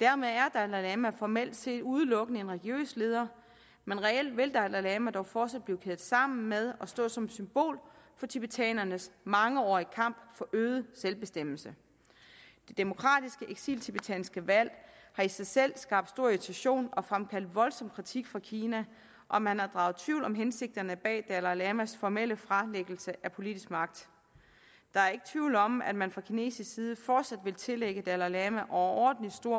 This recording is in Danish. dermed er dalai lama formelt set udelukkende en religiøs leder men reelt vil dalai lama dog fortsat blive kædet sammen med og stå som symbol for tibetanernes mangeårige kamp for øget selvbestemmelse det demokratiske eksiltibetanske valg har i sig selv skabt stor irritation og fremkaldt voldsom kritik fra kina og man har draget tvivl om hensigterne bag dalai lamas formelle fralæggelse af politisk magt der er ikke tvivl om at man fra kinesisk side fortsat vil tillægge dalai lama overordentlig stor